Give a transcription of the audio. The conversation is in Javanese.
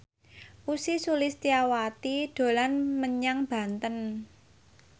Ussy Sulistyawati dolan menyang Banten